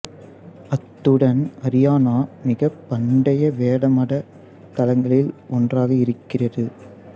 அத்துடன் அரியானா மிகப் பண்டைய வேத மத தளங்களில் ஒன்றாக இருக்கிறது